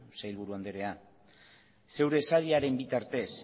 sailburu anderea zeure sailaren bitartez